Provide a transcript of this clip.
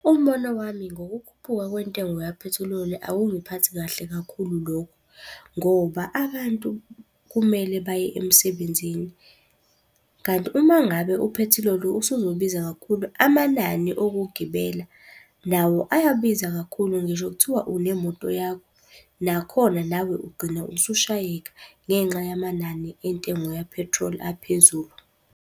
Umbono wami ngokukhuphuka kwentengo yaphethiloli akungiphathi kahle kakhulu lokho, ngoba abantu kumele baye emsebenzini, kanti uma ngabe uphethiloli usuzobiza kakhulu, amanani okugibela nawo ayabiza kakhulu ngisho kuthiwa unemoto yakho. Nakhona nawe ugcina usushayeka ngenxa yamanani entengo yaphethroli aphezulu.